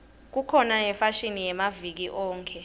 kukhona yefashini yamaviki onkhe